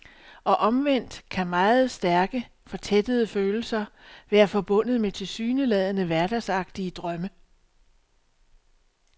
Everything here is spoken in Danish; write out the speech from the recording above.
Og omvendt kan meget stærke, fortættede følelser være forbundet med tilsyneladende hverdagsagtige drømme.